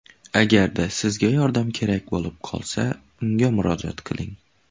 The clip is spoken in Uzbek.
Agarda sizga yordam kerak bo‘lib qolsa, unga murojaat qiling.